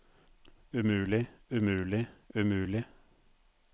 umulig umulig umulig